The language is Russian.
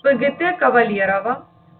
пгт кавалерово